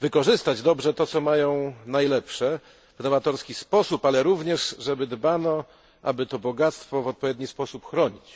wykorzystać dobrze to, co mają najlepszego, w nowatorski sposób, ale również żeby dbano, aby to bogactwo w odpowiedni sposób chronić.